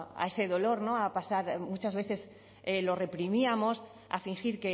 a ese dolor a pasar muchas veces lo reprimíamos a fingir